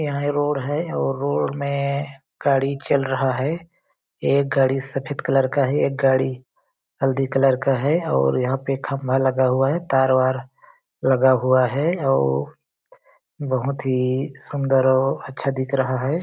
यहाँ ये रोड है और रोड में गाड़ी चल रहा है एक गाड़ी सफेद कलर का है एक गाड़ी हल्दी कलर का है और यहाँ पे खम्बा लगा हुआ है तार -वार लगा हुआ है अउ बहुत ही सुंदर और अच्छा दिख रहा है।